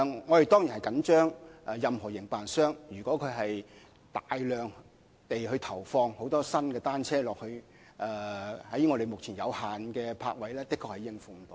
我們當然關注，營辦商一旦大量投放新單車作租賃用途，目前有限的泊位確實是無法應付的。